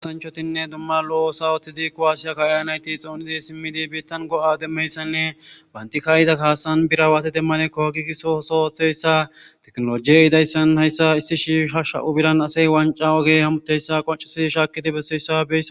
Kasanchotinne dumma lo7o sawoththidi kowaasiyakkaayanayti xoonidi simmidi biittan go7a demmeyssanne banti kaayida kaasan birawaati demmanekko hagigiso sotheyssa teknolojiyey idayssan hayssa issi shiisha sha7u biran asey wanca ogey hamuteyssa qoncisidi shaakidi besseyssabe